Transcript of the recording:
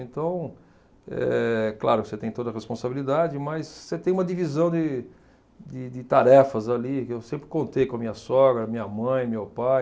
Então, é claro que você tem toda a responsabilidade, mas você tem uma divisão de de de tarefas ali, que eu sempre contei com a minha sogra, minha mãe, meu pai,